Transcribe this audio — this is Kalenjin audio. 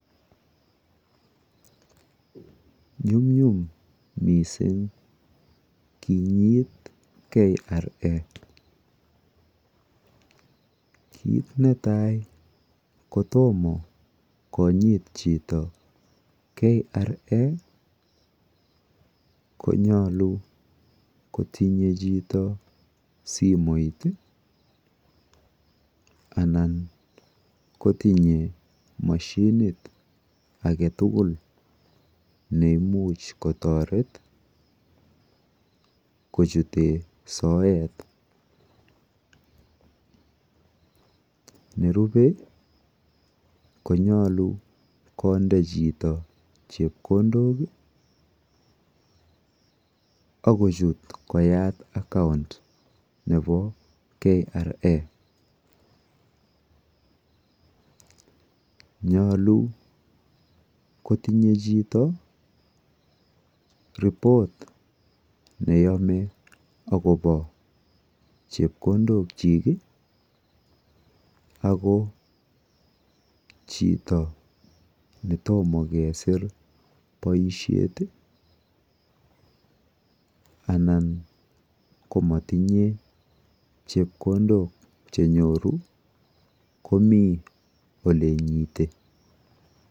Nyumnyum mising kiinyit KRA. Kiit netai kotomo konyiit chito KRA konyolu kotinye chito simoit anan kotinye moshinit age tugul nemuch kotoret kochut soet. Nerube konyolu konde chito chepkondok akochut koyaat akaunt nebo KRA. Nyolu kotinye chito ripot neyome akobo chepkodokyik ako chito netomo kesiir boisiet anan ko matinyeei chepkondok chenyoru komi oleinyiti.